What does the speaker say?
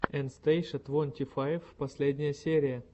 эн стейша твонти файв последняя серия